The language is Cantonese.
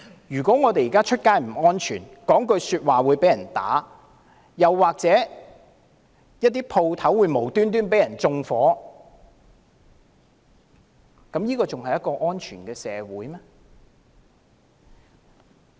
如果現時走在街上也不安全，說一句話也可能會被毆打，又或店鋪會無故被縱火，這還是一個安全的社會嗎？